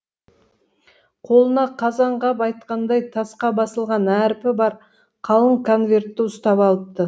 қолына қазанғап айтқандай тасқа басылған әрпі бар қалың конвертті ұстап алыпты